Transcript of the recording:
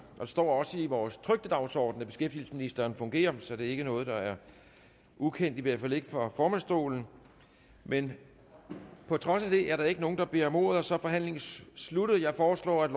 der står også i vores trykte dagsorden at beskæftigelsesministeren er fungerende finansminister så det er ikke noget der er ukendt i hvert fald ikke for formandsstolen men på trods af det er der ikke nogen der beder om ordet og så er forhandlingen sluttet jeg foreslår at